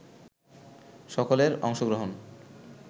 সকলের অংশগ্রহণ